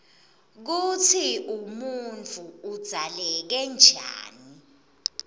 kutsi umuntfu udzaleke njani